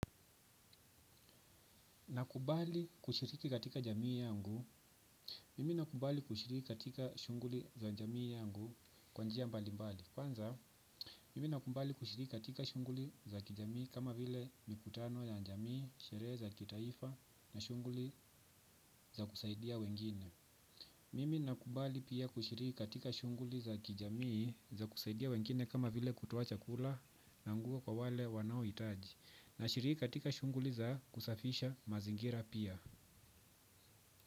Nakubali kushiriki katika jamii yangu, mimi nakubali kushiriki katika shunguli za jamii yangu kwanjia mbali mbali. Kwanza, mimi nakubali kushiriki katika shunguli za kijamii kama vile mikutano ya jamii, sherehe za kitaifa na shunguli za kusaidia wengine. Mimi nakubali pia kushiriki katika shunguli za kijamii za kusaidia wengine kama vile kutoa chakula na nguo kwa wale wanaohitaji na shiriki katika shunguli za kusafisha mazingira pia.